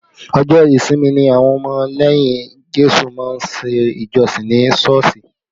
Ọjọ́ ìsinmi ni àwọn ọmọ lẹ́yìn Jésù má ń ṣe ìjọsìn ní Sọ́ọ̀sì